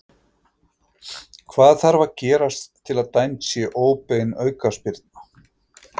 Hvað þarf að gerast til að dæmd sé óbein aukaspyrna?